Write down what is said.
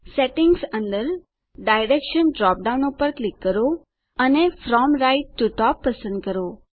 settings અંદર direction drop down પર click કરો અને ફ્રોમ રાઇટ ટીઓ ટોપ પસંદ કરો